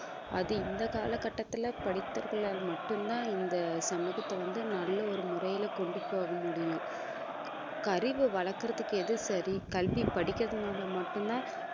அது இந்த காலகட்டத்தில படித்தவர்களால் மட்டும்தான் இந்த சமூகத்தை வந்து நல்ல ஒரு முறையில கொண்டு போக முடியும் அறிவை வளர்க்கறதுக்கு எது சரி கல்வி படிக்கிறதுனால மட்டும்தான்